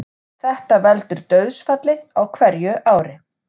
Þetta veldur dauðsfalli á hverju ári